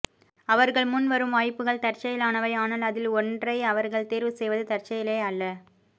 அவர்கள் முன் வரும் வாய்ப்புகள் தற்செயலானவை ஆனால் அதில் ஒன்றை அவர்கள் தேர்வு செய்வது தற்செயலே அல்ல